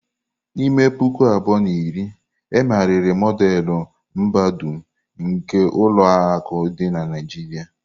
N'ime puku abụọ na iri, e megharịrị Modelu mbadum nke ulo akụ di na Naijiria.